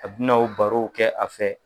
A bɛna o barow kɛ a fɛ.